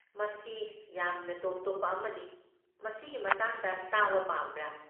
ꯃꯁꯤ ꯌꯥꯝꯅ ꯇꯣꯞ ꯇꯣꯞꯄ ꯑꯃꯅꯤ, ꯃꯁꯤꯒꯤ ꯃꯇꯥꯡꯗ ꯇꯥꯕ ꯄꯥꯝꯕ꯭ꯔꯥ?